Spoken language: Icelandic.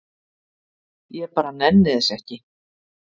ég bara nenni þessu ekki